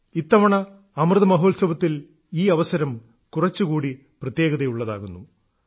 ഇത്തവണ അമൃതമഹോത്സവത്തിൽ ഈ അവസരം കുറച്ചുകൂടി പ്രത്യേകതയുള്ളതാകുന്നു